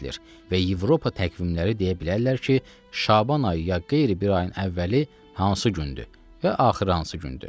Və Avropa təqvimləri deyə bilərlər ki, Şaban ayı ya qeyri bir ayın əvvəli hansı gündür və axırı hansı gündür.